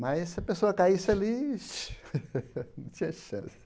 Mas se a pessoa caísse ali, não tinha chance.